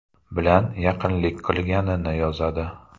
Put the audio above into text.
bilan yaqinlik qilganini yozadi.